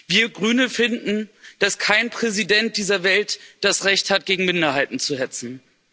Wir Grüne finden, dass kein Präsident dieser Welt das Recht hat, gegen Minderheiten zu hetzen.